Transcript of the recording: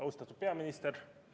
Austatud peaminister!